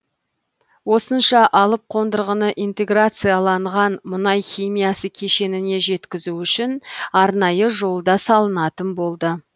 осынша алып қондырғыны интеграцияланған мұнай химиясы кешеніне жеткізу үшін арнайы жол да салынатын болды